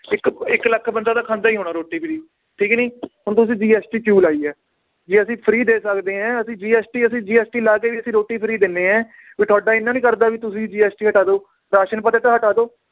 ਇਕ ਇੱਕ ਲਖ ਬੰਦਾ ਤਾਂ ਖਾਂਦਾ ਈ ਹੋਣਾ ਰੋਟੀ free ਠੀਕ ਨੀ ਹੁਣ ਤੁਸੀਂ GST ਕਿਊ ਲਾਈ ਏ ਜੇ ਅਸੀ free ਦੇ ਸਕਦੇ ਏ ਅਸੀਂ GST ਅਸੀਂ GST ਲਾ ਕੇ ਵੀ ਅਸੀਂ ਰੋਟੀ free ਦਿੰਨੇ ਏ ਵੀ ਤੁਹਾਡਾ ਇੰਨਾ ਨੀ ਕਰਦਾ ਵੀ ਤੁਸੀਂ GST ਹਟਾ ਦਓ ਰਾਸ਼ਨ ਤਾਂ ਹਟਾ ਦਓ।